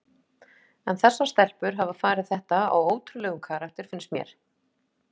En þessar stelpur hafa farið þetta á ótrúlegum karakter finnst mér.